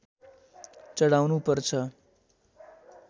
चढाउनु पर्छ